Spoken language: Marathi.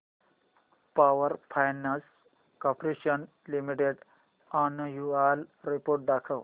power finance corporation limited annual report दाखव